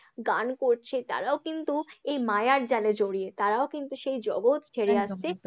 গান করছে তারাও কিন্তু তারাও কিন্তু এই মায়ার জালে জড়িয়ে, তারাও কিন্তু সেই জগৎ ছেড়ে আসছে